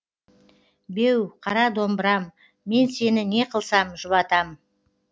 беу қара домбырам мен сені не қылсам жұбатам